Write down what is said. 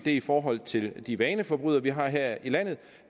i forhold til de vaneforbrydere vi har her i landet